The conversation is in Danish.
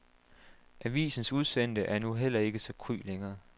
Avisens udsendte er nu heller ikke så kry længere.